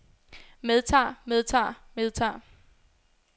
medtager medtager medtager